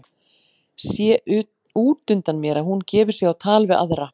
Sé út undan mér að hún gefur sig á tal við aðra.